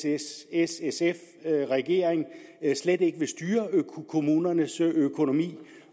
s s sf regering slet ikke vil styre kommunernes økonomi